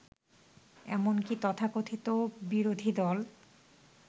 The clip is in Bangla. এমনকি তথাকথিত বিরোধীদল